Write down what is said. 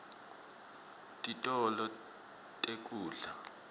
titolo tekudla